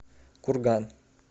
курган